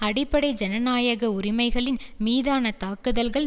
அடிப்படை ஜனநாயக உரிமைகளின் மீதான தாக்குதல்கள்